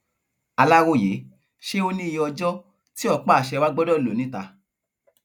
aláròye ṣé ó níye ọjọ tí ọpáàṣẹ wàá gbọdọ lọ níta